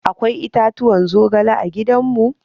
Akwai itatuwan zogale a gidan mu.